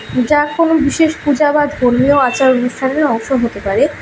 যা কোনো বিশেষ পূজা বা ধর্মীয় আচার অনুষ্ঠানের অংশ হতে পারে।